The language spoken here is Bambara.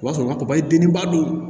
O b'a sɔrɔ papaye den ba don